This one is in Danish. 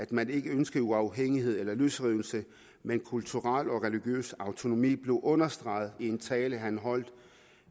man ikke ønsker uafhængighed eller løsrivelse men kulturel og religiøs autonomi blev understreget i en tale han holdt